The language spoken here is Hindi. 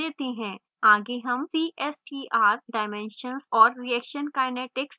आगे हम cstr dimensions और reaction kinetics देते हैं